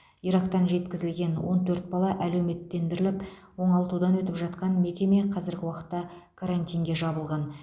ирактан жеткізілген он төрт бала әлеуметтендіріліп оңалтудан өтіп жатқан мекеме қазіргі уақытта карантинге жабылған